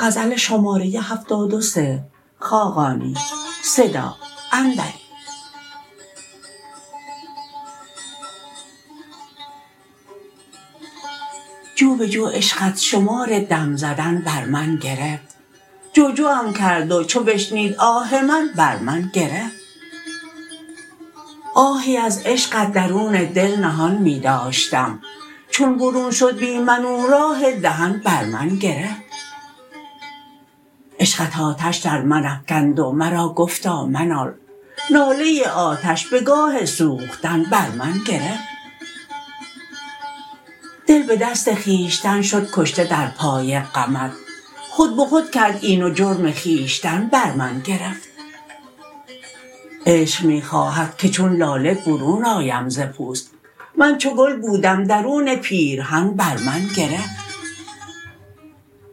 جو به جو عشقت شمار دم زدن بر من گرفت جو جوم کرد و چو بشنید آه من بر من گرفت آهی از عشقت درون دل نهان می داشتم چون برون شد بی من او راه دهن بر من گرفت عشقت آتش در من افکند و مرا گفتا منال ناله آتش به گاه سوختن بر من گرفت دل به دست خویشتن شد کشته در پای غمت خود به خود کرد این و جرم خویشتن بر من گرفت عشق می خواهد که چون لاله برون آیم ز پوست من چو گل بودم درون پیرهن بر من گرفت